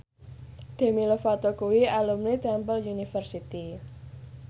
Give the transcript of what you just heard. Demi Lovato kuwi alumni Temple University